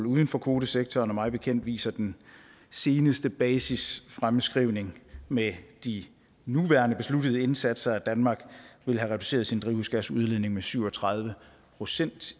uden for kvotesektoren og mig bekendt viser den seneste basisfremskrivning med de nuværende besluttede indsatser at danmark vil have reduceret sin drivhusgasudledning med syv og tredive procent